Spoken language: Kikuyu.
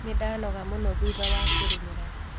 Nĩndanoga mũno thutha wa kũrĩmĩra.